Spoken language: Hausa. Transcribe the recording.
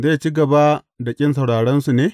Zai ci gaba da ƙin sauraronsu ne?